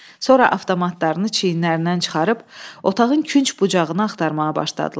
Sonra avtomatlarını çiyinlərindən çıxarıb otağın künc bucağını axtarmağa başladılar.